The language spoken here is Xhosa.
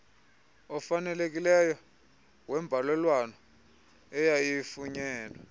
ofanelekileyo wembalelwano eyayifunyenwe